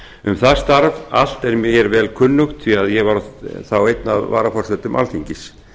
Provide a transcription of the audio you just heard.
um það starf allt er mér vel kunnugt því að ég var þá einn af varaforsetum alþingis